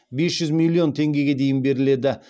бес жүз миллион теңгеге дейін беріледі